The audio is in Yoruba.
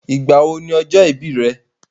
Ìgbà wo ni ọjọ́ ìbí rẹ̀?